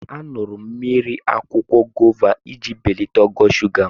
Aṅụrụ mmiri akwụkwọ gova iji belata ogo shuga m.